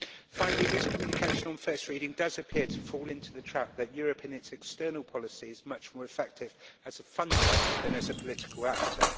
Finally, this communication on first reading does appear to fall into the trap of assuming that Europe in its external policy is much more effective as a funder than as a political actor.